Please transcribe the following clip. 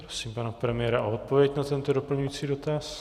Prosím pana premiéra o odpověď na tento doplňující dotaz.